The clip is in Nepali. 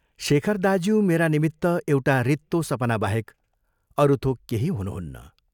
शेखर दाज्यू मेरा निमित्त एउटा रित्तो सपनाबाहेक अरू थोक केही हुनुहुन्न।